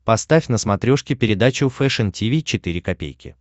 поставь на смотрешке передачу фэшн ти ви четыре ка